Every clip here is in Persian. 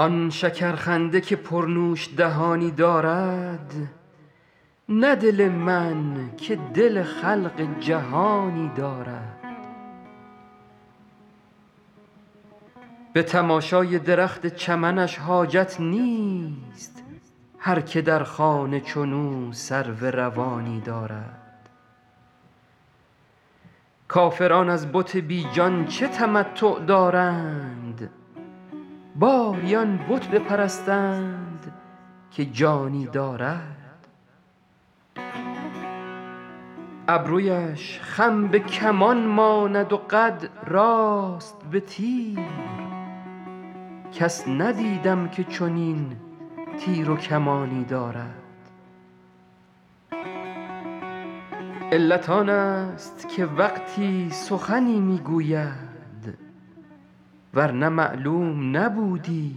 آن شکرخنده که پرنوش دهانی دارد نه دل من که دل خلق جهانی دارد به تماشای درخت چمنش حاجت نیست هر که در خانه چنو سرو روانی دارد کافران از بت بی جان چه تمتع دارند باری آن بت بپرستند که جانی دارد ابرویش خم به کمان ماند و قد راست به تیر کس ندیدم که چنین تیر و کمانی دارد علت آنست که وقتی سخنی می گوید ور نه معلوم نبودی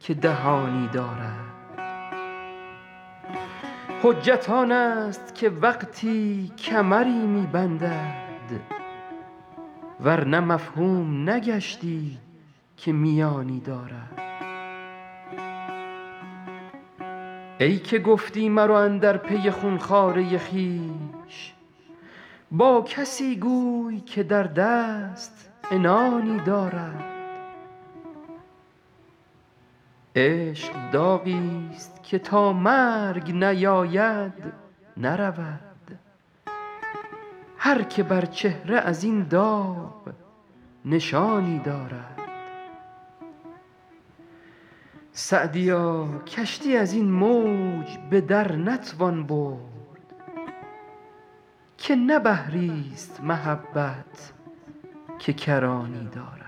که دهانی دارد حجت آنست که وقتی کمری می بندد ور نه مفهوم نگشتی که میانی دارد ای که گفتی مرو اندر پی خون خواره خویش با کسی گوی که در دست عنانی دارد عشق داغیست که تا مرگ نیاید نرود هر که بر چهره از این داغ نشانی دارد سعدیا کشتی از این موج به در نتوان برد که نه بحریست محبت که کرانی دارد